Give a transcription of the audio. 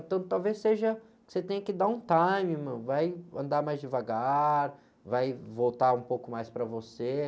Então talvez seja que você tenha que dar um time, meu, vai andar mais devagar, vai voltar um pouco mais para você.